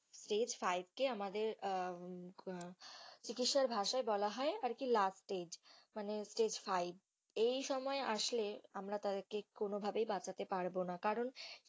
Stage five কে আমাদের আহ চিকিৎসার ভাষায় বলা হয় আর কি last stage মানে stage five এই সময় আসলে আমরা তাদেরকে কোনো ভাবেই বাঁচাতে পারবো না কারণ,